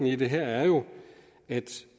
i det her er jo at